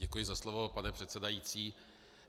Děkuji za slovo, pane předsedající.